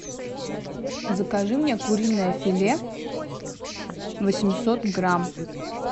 закажи мне куриное филе восемьсот грамм